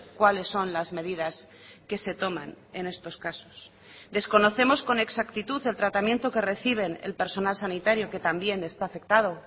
cuáles son las medidas que se toman en estos casos desconocemos con exactitud el tratamiento que reciben el personal sanitario que también está afectado